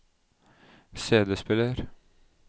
CD-spiller